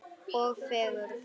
Og fegurð.